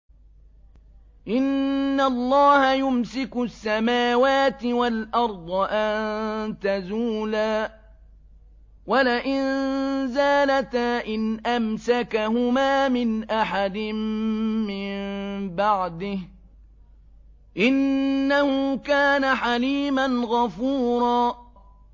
۞ إِنَّ اللَّهَ يُمْسِكُ السَّمَاوَاتِ وَالْأَرْضَ أَن تَزُولَا ۚ وَلَئِن زَالَتَا إِنْ أَمْسَكَهُمَا مِنْ أَحَدٍ مِّن بَعْدِهِ ۚ إِنَّهُ كَانَ حَلِيمًا غَفُورًا